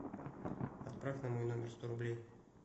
отправь на мой номер сто рублей